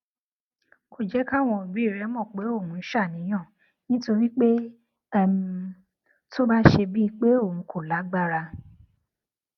kò jé káwọn òbí rè mò pé òun ń ṣàníyàn nítorí pé um tó bá ṣe bíi pé òun kò lágbára